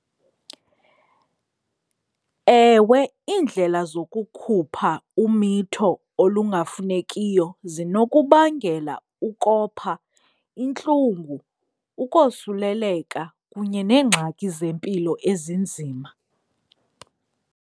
Ewe, iindlela zokukhupha umitho olungafunekiyo zinokubangela ukopha, intlungu, ukosuleleka kunye neengxaki zempilo ezinzima.